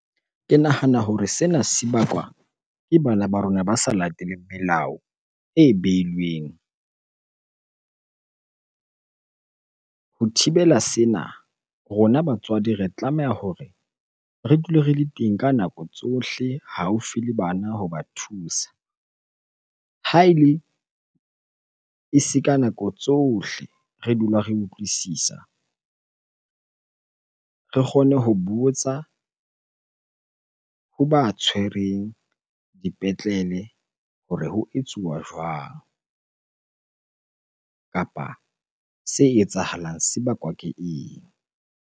Ke nahana hore sena se bakwa ke bana ba rona ba sa lateleng melao e beilweng. Ho thibela sena, rona batswadi re tlameha hore re dule re le teng ka nako tsohle haufi le bana hoba thusa. Ha ele e se ka nako tsohle re dula re utlwisisa. Re kgone ho botsa hoba tshwereng dipetlele hore ho etsuwa jwang? Kapa se etsahalang se bakwa ke eng?